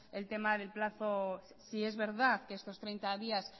el tema del plazo sí es verdad que estos treinta días